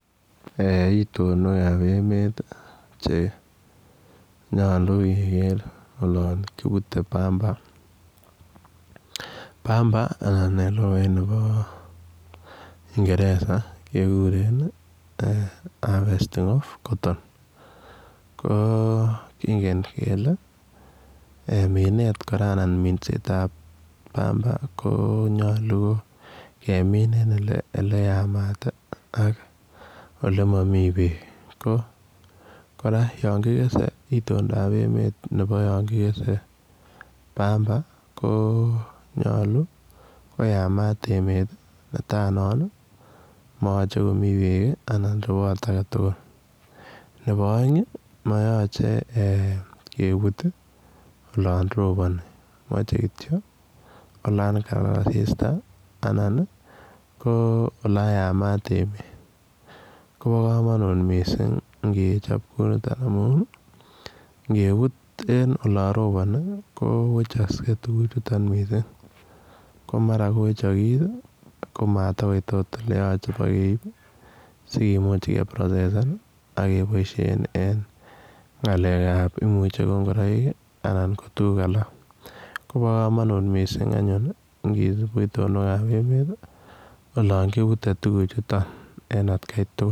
Itonwekab emet chenyolu keker olon kiputei pamba pamba anan en lukait nebo kingeresa kekuren harvesting of cotton ko kingen kele minet kora anan minsetab pamba ko nyolu kemin en ole yamat ak ole mami beek ko kora yon kikesei itondoab emet nebo yon kikesei pamba konyolu koyamat emet mayochei komi beek anan rewot agetugul nebo oeng' mayoche kebut olon roponi mochei kityo olon kilal asista anan ko oloyamat emet kobo komonut mising' ngecjop kou mito amun ngebut en olo ropono kowechoskei tukuchuton mising' ko mara kowechokis komatikoit akot oleyocheu pakeib sikimuch ke process san akeboisen en ng'alekab imuche ko ngoroik anam ko tukuk alak kobo komonut mising' anyun ngisup itonwekab emet olon kiputei tukuchuto en akei tugul